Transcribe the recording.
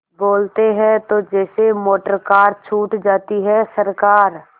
बोलते हैं तो जैसे मोटरकार छूट जाती है सरकार